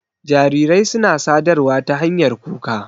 Jarirai suna sadarwa ta hanyar kuka.